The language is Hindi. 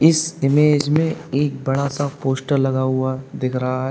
इस इमेज में एक बड़ा सा पोस्टर लगा हुआ दिख रहा है।